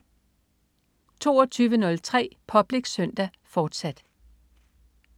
22.03 Public Søndag, fortsat